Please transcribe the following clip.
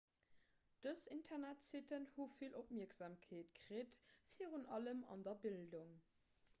dës internetsitten hu vill opmierksamkeet kritt virun allem an der bildung